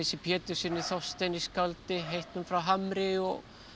Péturssyni Þorsteini skáldi heitnum frá Hamri og